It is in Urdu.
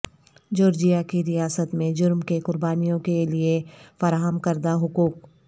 جورجیا کی ریاست میں جرم کے قربانیوں کے لئے فراہم کردہ حقوق